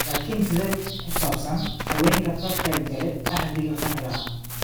Laakiin sidee ku saabsan haweenka ka qaybta kale ee axdiga qarliga ah?